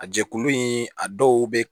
A jɛkulu in a dɔw bɛ